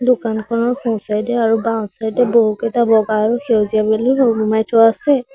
দোকানখনৰ সোঁ চাইড এ আৰু বাওঁ চাইড এ বহুকেইটা বগা আৰু সেউজীয়া বেলুন ওলোমাই থোৱা আছে।